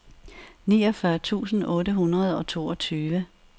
niogfyrre tusind otte hundrede og toogtyve